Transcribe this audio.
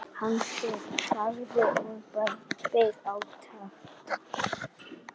Hann þagði og beið átekta.